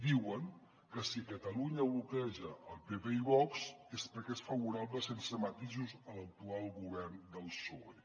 diuen que si catalunya bloqueja el pp i vox és perquè és favorable sense matisos a l’actual govern del psoe